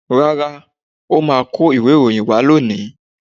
Rárá, ọ́ máa kó ìwé ìròyìn wá lónìí.